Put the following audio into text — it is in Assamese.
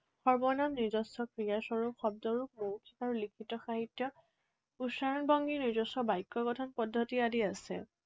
সৰ্বনাম, নিজস্ব ক্ৰিয়াস্বৰূপ শব্দৰো আৰু লিখিত সাহিত্য, উচ্চাৰণভংগী, নিজস্ব বাক্যগঠন পদ্ধতি আদি আছে।